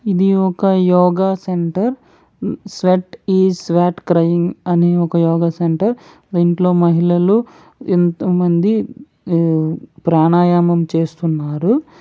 ఇది ఒక yoga centre. Sweat ఈ స్వెట్ క్రై అనే యోగ సెంటర్. దీంట్లో మహిళలు ఎంతోమంది ప్రాణాయామం చేస్తున్నారు..